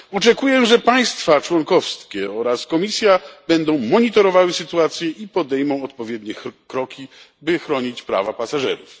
Oczekuję, że państwa członkowskie oraz Komisja będą monitorowały sytuację i podejmą odpowiednie kroki, by chronić prawa pasażerów.